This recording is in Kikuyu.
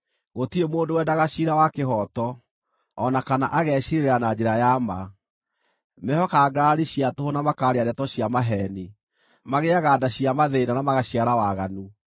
Gũtirĩ mũndũ wendaga ciira wa kĩhooto, o na kana ageciirĩrĩra na njĩra ya ma. Mehokaga ngarari cia tũhũ na makaaria ndeto cia maheeni; magĩaga nda cia mathĩĩna na magaciara waganu.